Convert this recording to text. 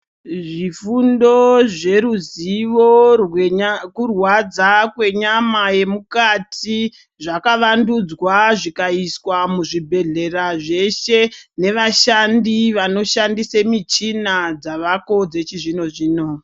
Zvifundo zveruzivo hwekurwadza kwenyama yemukati zvakawandudzwa zvikaiswa muzvibhedhlera zveshe. Nevashandi vanoshandise michina dzavako dzechizvino-zvino.